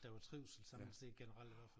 Der var trivsel sådan set generelt i hvert fald